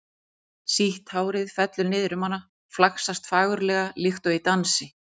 Sítt hárið fellur niður um hana, flaksast fagurlega líkt og í dansi.